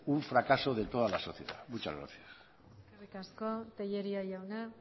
un fracaso de toda la sociedad muchas gracias eskerrik asko tellería jauna